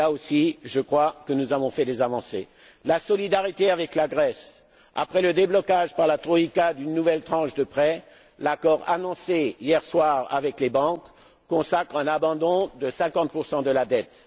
sept. Et là aussi, je crois que nous avons fait des avancées. En ce qui concerne la solidarité avec la Grèce, après le déblocage par la troïka d'une nouvelle tranche de prêts, l'accord annoncé hier soir avec les banques consacre un abandon de 50 de la